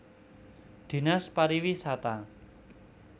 Dinas Pariwisata